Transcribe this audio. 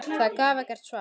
Það gaf ekkert svar.